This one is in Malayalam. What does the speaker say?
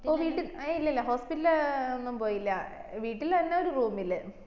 ഓ വീട്ടി ഇല്ലല്ലാ hospital ഇൽ ല് ഒന്നും പോയില്ല വീട്ടിൽ അന്നെ ഒരു room ഇല്